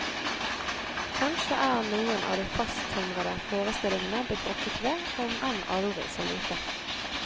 Kanskje er noen av de fasttømrede forestillingene blitt rokket ved, om enn aldri så lite.